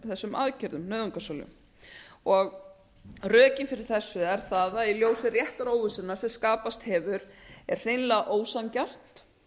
þessum aðgerðum nauðungarsölu rökin fyrir þessu eru þau að í ljósi réttaróvissunnar sem skapast hefur er hreinlega ósanngjarnt